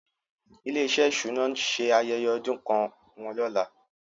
Ilé-iṣẹ́ ìṣúná náà ń ṣe ayẹyẹ ọdún kan wọn lọ́la.